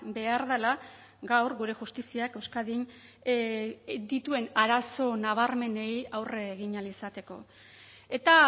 behar dela gaur gure justiziak euskadin dituen arazo nabarmenei aurre egin ahal izateko eta